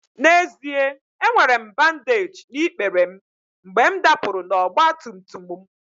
N'ezie, enwere m bandeeji na ikpere m mgbe m dapụrụ n'ọgba tum tum m